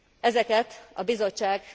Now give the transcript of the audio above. Ezeket a Bizottság